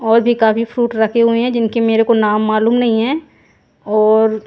और भी काफी फ्रूट रखे हुए हैं जिनको मेरे को नाम मालूम नहीं है और--